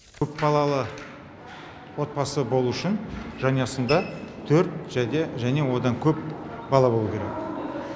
көпбалалы отбасы болу үшін жанұясында төрт және және одан көп бала болу керек